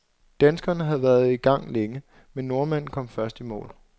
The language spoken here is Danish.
Danskeren havde været i gang længe, men nordmanden kom først i mål.